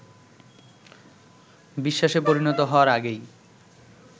বিশ্বাসে পরিণত হওয়ার আগেই